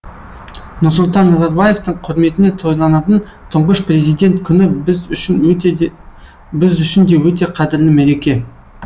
нұрсұлтан назарбаевтың құрметіне тойланатын тұңғыш президент күні біз үшін де өте қадірлі мереке